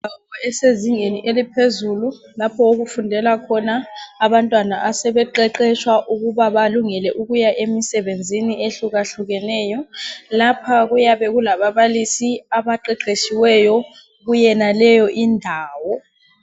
Indawo esezingeni eliphezulu lapho okufundela khona abantwana asebeqeqeshwa ukuba balungele ukuya emisebenzini ehlukahlukeneyo. Lapha kuyabe kulababalisi abaqeqeshiweyo kuyenaleyo indawo